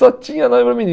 Só tinha nome para